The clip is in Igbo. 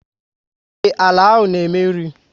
Ee, àlà áhù na eme nri